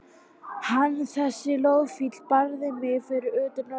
Hann, þessi loðfíll, barði mig fyrir utan Norðurpólinn.